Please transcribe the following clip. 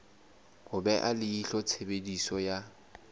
ho beha leihlo tshebediso ya